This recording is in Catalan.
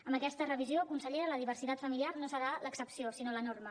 amb aquesta revisió consellera la diversitat familiar no serà l’excepció sinó la norma